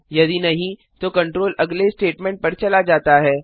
यदि नहीं तो कंट्रोल अगले स्टेटमेंट पर चला जाता है